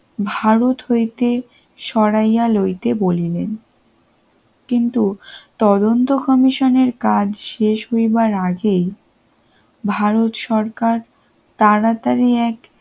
ভারত হইতে সরাইয়া লইতে বলিনি কিন্তু তদন্ত কমিশনের কাজ শেষ হইবার আগেই ভারত সরকার তাড়াতাড়ি